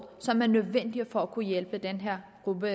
som er nødvendig for at kunne hjælpe den her gruppe